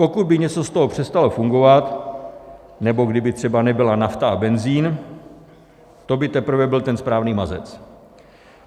Pokud by něco z toho přestalo fungovat nebo kdyby třeba nebyla nafta a benzin, to by teprve byl ten správný mazec.